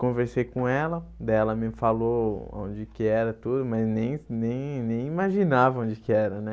Conversei com ela, daí ela me falou onde que era tudo, mas nem nem nem imaginava onde que era, né?